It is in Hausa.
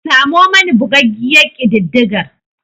Samo mani bugaggiyar kididdigar.